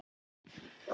Háð miklu fremur.